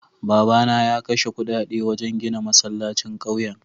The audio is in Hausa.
Babana ya kashe kudade wajen gina masallacin kauyen.